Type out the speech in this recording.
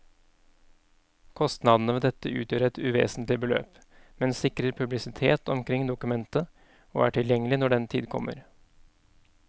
Kostnadene ved dette utgjør et uvesentlig beløp, men sikrer publisitet omkring dokumentet og er tilgjengelig når den tid kommer.